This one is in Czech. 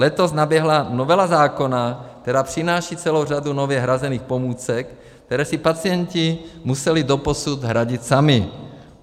Letos naběhla novela zákona, která přináší celou řadu nově hrazených pomůcek, které si pacienti museli doposud hradit sami.